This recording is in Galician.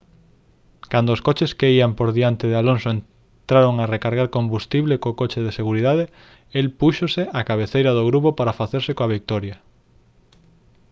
cando os coches que ían por diante de alonso entraron a recargar combustible co coche de seguridade el púxose á cabeceira do grupo para facerse coa vitoria